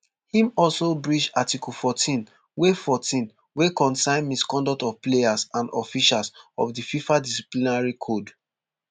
im also breach article fourteen wey fourteen wey concern misconduct of players and officials of di fifa disciplinary code